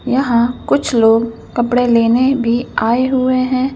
यहाँ कुछ लोग कपड़े लेने भी आए हुए हैं।